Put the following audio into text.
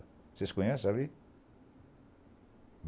Vocês conhecem ali?